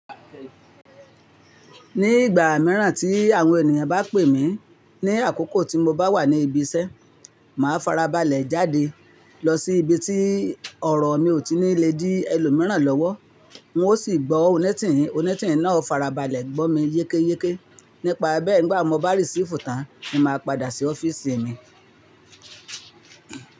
Ní ìgbà mìíràn tí àwọn ènìyàn bá pè mí ní àkókò tí mo bá wà ní ibi iṣẹ́, màá farabalẹ̀ jáde lọ sí ibi tí ọ̀rọ̀ mi ò tí nì lè dí ẹlòmíràn lọ́wọ́. Wọ́n ó sì gbọ́ oni tìn, oni tìn náà o farabalẹ̀ gbọ́ mi yékéyéké. Nípa bẹ́ẹ̀ ngbà n mo bá receive tán, ni máa padà sí ọ́fíìsì mi.